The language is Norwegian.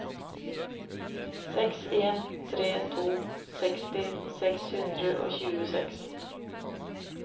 seks en tre to seksti seks hundre og tjueseks